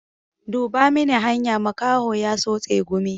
Duba mini hanya, makaho ya so tsegumi.